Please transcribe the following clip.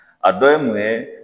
A dɔ ye mun ye.